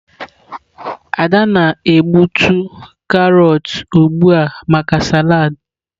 Ada na-egbutu carrots ugbu a maka salad.